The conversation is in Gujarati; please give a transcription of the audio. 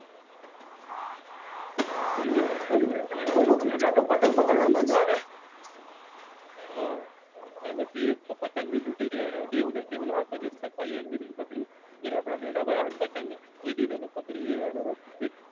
હમ અમુક મજા તો પતંગ પકડવામાં આવે. હમ ને પછી પતંગ બી લૂંટીયે એવું નઈ કે આખો દિવસ ચગાવીએ જે ઉપર આવે ને પતંગ એ બી પછી